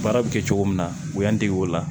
Baara bɛ kɛ cogo min na u y'an dege o la